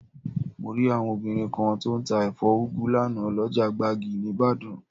Mo rí àwọn obìnrin kan tó ń tà ẹ̀fọ́ úgu lánàá, lọ́jà gbági níbàdàn